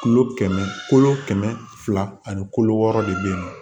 Kilo kɛmɛ fila ani wɔɔrɔ de bɛ